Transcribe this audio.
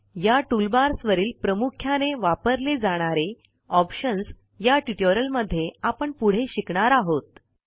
या टूलबार्सवरील प्रामुख्याने वापरले जाणारे ऑप्शन्स या ट्युटोरियलमध्ये आपण पुढे शिकणार आहोत